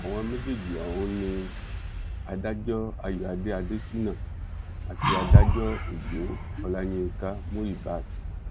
àwọn méjèèjì ọ̀hún ni adájọ ayọ̀adé adéṣínà àti adájọ ọjọ ọláyínka muíbat